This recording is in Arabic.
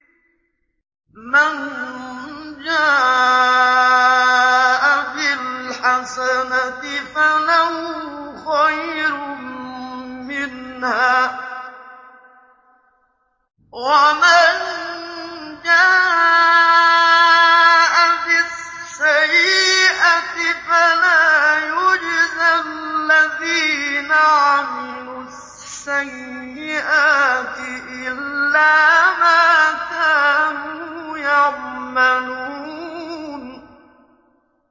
مَن جَاءَ بِالْحَسَنَةِ فَلَهُ خَيْرٌ مِّنْهَا ۖ وَمَن جَاءَ بِالسَّيِّئَةِ فَلَا يُجْزَى الَّذِينَ عَمِلُوا السَّيِّئَاتِ إِلَّا مَا كَانُوا يَعْمَلُونَ